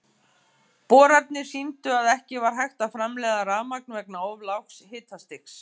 Boranirnar sýndu að ekki var hægt að framleiða rafmagn vegna of lágs hitastigs.